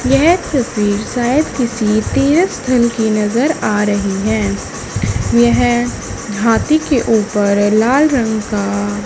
येह तस्वीर शायद किसी तीरथ स्थल की नजर आ रही है यह हाथी के ऊपर लाल रंग का--